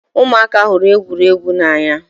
Ụmụaka hụrụ egwuregwu n'anya